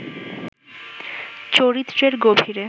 চরিত্রের গভীরে